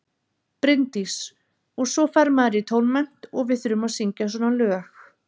Bryndís: Og svo fer maður í tónmennt og við þurfum að syngja svona lög.